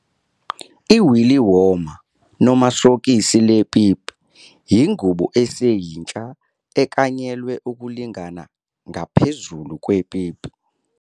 I-willy warmer, noma sokisi lepipi, ingubo eseyintsha eklanyelwe ukulingana ngaphezulu kwepipi.